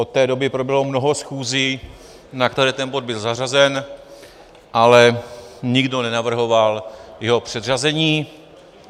Od té doby proběhlo mnoho schůzí, na které ten bod byl zařazen, ale nikdo nenavrhoval jeho předřazení.